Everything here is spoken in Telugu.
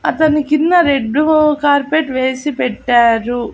అతనికింద రెడ్ కార్పెట్ వేసి పెట్టారు.